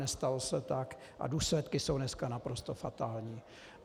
Nestalo se tak a důsledky jsou dneska naprosto fatální.